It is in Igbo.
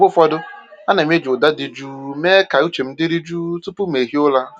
Mgbe ụfọdụ, ana m eji ụda dị jụụ mee ka uche m dịrị jụụ tupu m ehiere ụra.